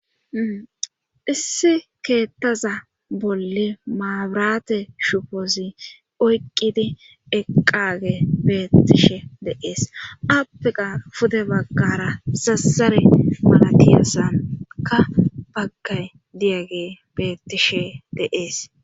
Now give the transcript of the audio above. issi keettaza bolle maabirate shufoozi oyqqidi eqage beettishe dees appiqa pude baggara sassare malatiyassanka baggay diyage beettishe deees